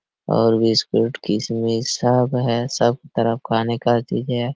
और बिस्कुट किसमिश सब है सब तरफ खाने का चीजे है।